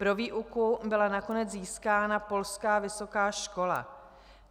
Pro výuku byla nakonec získána polská vysoká škola.